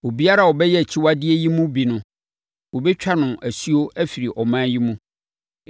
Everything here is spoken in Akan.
“ ‘Obiara a ɔbɛyɛ akyiwadeɛ yi mu bi no, wɔbɛtwa no asuo afiri ɔman yi mu.